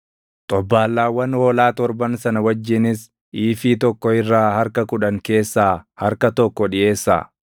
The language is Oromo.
xobbaallaawwan hoolaa torban sana wajjinis iifii tokko irraa harka kudhan keessa harka tokko dhiʼeessaa.